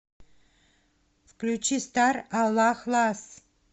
включи стар аллах лас